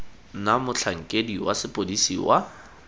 na motlhankedi wa sepodisi wa